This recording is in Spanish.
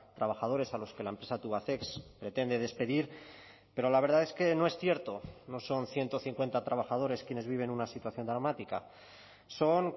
trabajadores a los que la empresa tubacex pretende despedir pero la verdad es que no es cierto no son ciento cincuenta trabajadores quienes viven una situación dramática son